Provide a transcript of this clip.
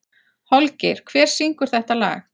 Holgeir, hver syngur þetta lag?